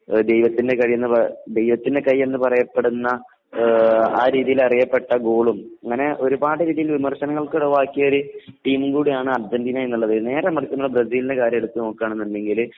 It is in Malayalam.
ദൈവത്തിന്റെ കൈ ദൈവത്തിന്റെ കൈ എന്ന് പറയപ്പെടുന്ന ആ രീതിയിൽ അറിയപ്പെട്ട ഗോളും ഒരു ഗോളും അങ്ങനെ ഒരുപാട് രീതിയിലുള്ള വിമർശനങ്ങൾക്ക് വിധേയമായിട്ടുള്ള ടീമാണ് അർജന്റീന എന്ന് പറയുന്നത് . എന്നാൽ ബ്രസീലിന്റെ കാര്യം എടുത്തു നോക്കുകയാണെങ്കിൽ